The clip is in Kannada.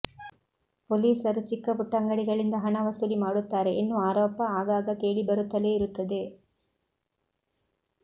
ಪೊಲೀಸರು ಚಿಕ್ಕ ಪುಟ್ಟ ಅಂಗಡಿಗಳಿಂದ ಹಣ ವಸೂಲಿ ಮಾಡುತ್ತಾರೆ ಎನ್ನುವ ಆರೋಪ ಆಗಾಗ ಕೇಳಿ ಬರುತ್ತಲೇ ಇರುತ್ತದೆ